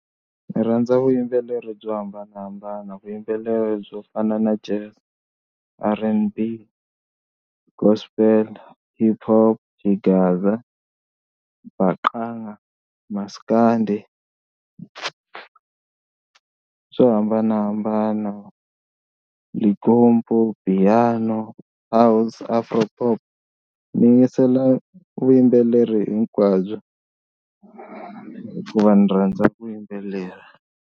Ndzi rhandza vuyimbeleri byo hambanahambana vuyimbeleri byo fana Jazz, R_N_B, Gospel, HipHop, Xigaza, Mbacanga Maskandi swo hambanahambana Limpopo, Piano, House, Afropop ni yingisela vuyimbeleri hinkwabyo hikuva ni rhandza vuyimbeleri.